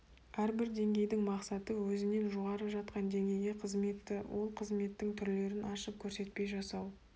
әрбір деңгейдің мақсаты өзінен жоғары жатқан деңгейге қызметті ол қызметтің түрлерін ашып көрсетпей жасау